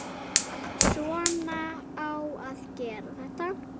Svona á að gera þetta.